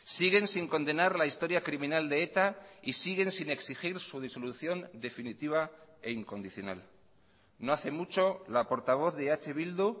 siguen sin condenar la historia criminal de eta y siguen sin exigir su disolución definitiva e incondicional no hace mucho la portavoz de eh bildu